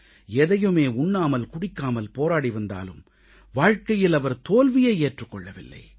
எதையுமே உண்ணாமல் குடிக்காமல் போராடி வந்தாலும் வாழ்க்கையில் அவர் தோல்வியை ஏற்றுக் கொள்ளவில்லை